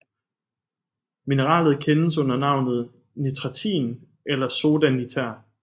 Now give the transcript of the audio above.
Mineralet kendes også under navnet nitratin eller soda niter